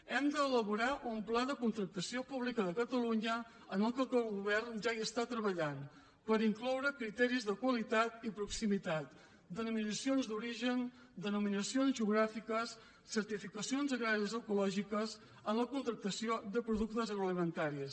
hem d’elaborar un pla de contractació pública de catalunya en què el govern ja està treballant per incloure criteris de qualitat i proximitat denominacions d’origen denominacions geogràfiques certifica cions agràries ecològiques en la contractació de productes agroalimentaris